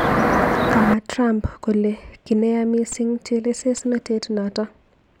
Kama Trump kole ki neya missing chelesosnatet notok.